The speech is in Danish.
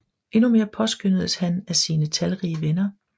Endnu mere påskønnedes han af sine talrige venner